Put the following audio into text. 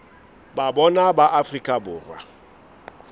ba bona ba afrika borwa